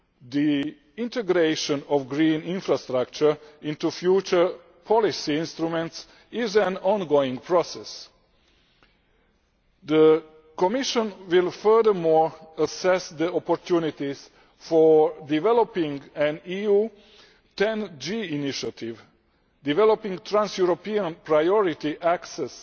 The integration of green infrastructure into future policy instruments is an ongoing process. The Commission will furthermore assess the opportunities for developing an EU 10G initiative, developing trans European priority access